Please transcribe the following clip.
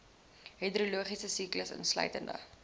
hidrologiese siklus insluitende